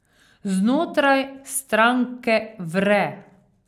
Znotraj stranke vre.